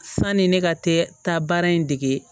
Sanni ne ka tɛ taa baara in dege